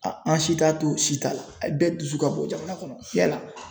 an si t'a to si t'a la bɛɛ dusu ka bɔn jamana kɔnɔ yala